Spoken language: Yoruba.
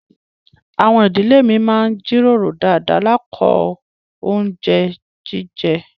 Àwọn ìdílé mi má n jíròrò dáadá lákọ̀ ọ̀un jẹ́ ọ̀unjẹ̀ alẹ̀.